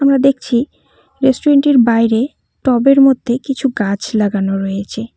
আমরা দেখছি রেস্টুরেন্ট -টির বাইরে টব -এর মধ্যে কিছু গাছ লাগানো রয়েছে।